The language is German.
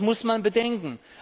Das muss man bedenken.